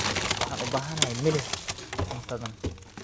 Waxaan u baahanahay milix cuntadan.